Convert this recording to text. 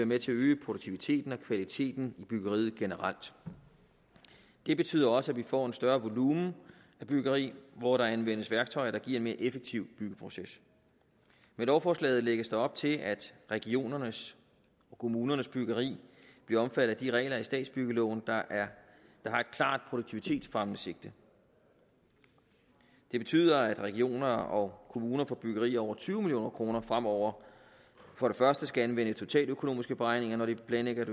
med til at øge produktiviteten og kvaliteten i byggeriet generelt det betyder også at vi får en større volumen af byggeri hvor der anvendes værktøjer der giver en mere effektiv byggeproces med lovforslaget lægges der op til at regionernes og kommunernes byggeri bliver omfattet af de regler i statsbyggeloven der har et klart produktivitetsfremmende sigte det betyder at regioner og kommuner på byggeri til over tyve million kroner fremover for det første skal anvende totaløkonomiske beregninger når de planlægger et